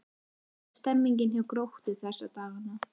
Hvernig er stemningin hjá Gróttu þessa dagana?